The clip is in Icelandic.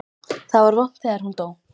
Það var vont þegar hún dó.